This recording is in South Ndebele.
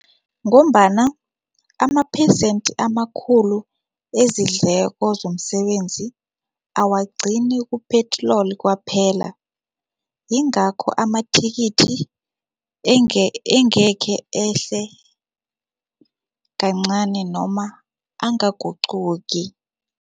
Ngombana amaphesenti amakhulu ezidleko zomsebenzi awagcini kuphela ku-petrol kwaphela, yingakho amathikithi engekhe ehle kancani noma angaguquki.